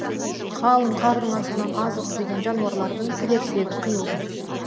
қалың қардың астынан азық іздеген жануарлардың тілерсегі қиылды